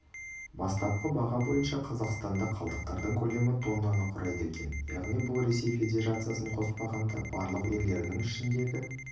бастапқы баға бойынша қазақстанда қалдықтардың көлемі тоннаны құрайды екен яғни бұл ресей федерациясын қоспағанда барлық елдерінің ішіндегі